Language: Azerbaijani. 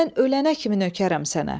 Mən ölənə kimi nökərəm sənə.